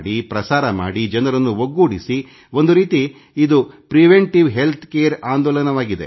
ಪ್ರಸಾರ ಮಾಡಿ ಜನರನ್ನು ಒಗ್ಗೂಡಿಸಿ ಒಂದು ರೀತಿ ಇದು ರೋಗ ಬಾರದಂತೆ ತಡೆಯುವ ಪ್ರಿವೆಂಟಿವ್ ಹೆಲ್ತ್ careಆಂದೋಲನವಾಗಲಿ